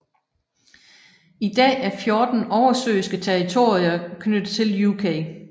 I dag er fjorten oversøiske territorier knyttet til UK